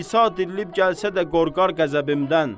İsa dirilib gəlsə də qorqar qəzəbimdən.